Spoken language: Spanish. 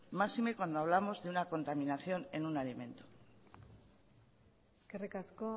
máxime cuando hablamos de una contaminación en un alimento eskerrik asko